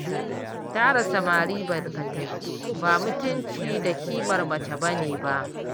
Tara samari barkatai ba mutunci da ƙimar mace ba ne ba